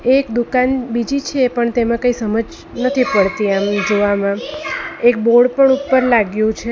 એક દુકાન બીજી છે પણ તેમાં કંઈ સમજ નથી પડતી આમ જોવામાં એક બોર્ડ પણ ઉપર લાગ્યું છે.